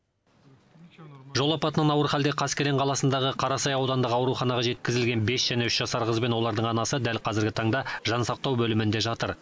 жол апатынан ауыр халде қаскелең қаласындағы қарасай аудандық ауруханаға жеткізілген бес және үш жасар қыз бен олардың анасы дәл қазіргі таңда жансақтау бөлімінде жатыр